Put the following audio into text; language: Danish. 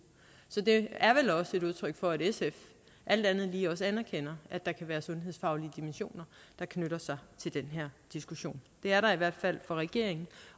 så det er vel også et udtryk for at sf alt andet lige også anerkender at der kan være sundhedsfaglige dimensioner der knytter sig til den her diskussion det er der i hvert fald for regeringen